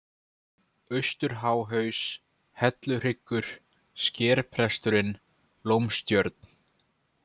Austurháhaus, Helluhryggur, Skerpresturinn, Lómstjörn